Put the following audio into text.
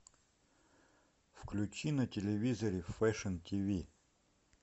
включи на телевизоре фэшн тиви